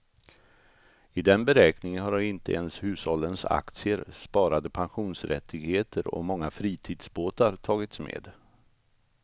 I den beräkningen har inte ens hushållens aktier, sparade pensionsrättigheter och många fritidsbåtar tagits med.